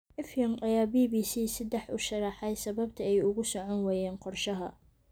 Effiong ayaa BBC Saddex u sharraxay sababta ay ugu socon waayeen qorshaha.